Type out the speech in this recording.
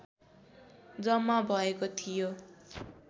जम्मा भएको थियो